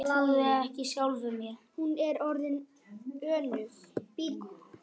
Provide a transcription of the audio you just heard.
Hún er orðin önug.